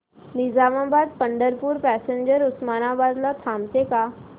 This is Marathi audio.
निजामाबाद पंढरपूर पॅसेंजर उस्मानाबाद ला थांबते का